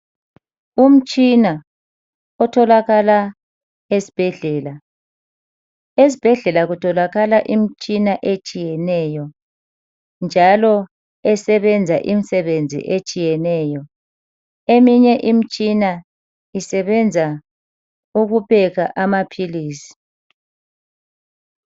Umtshina otholakala esibhedlela. Esibhedlela kutholakala imtshina etshiyeneyo njalo esebenza imisebenzi etshiyeneyo. Eminye imitshina isebenza ukupheka amaphilisi.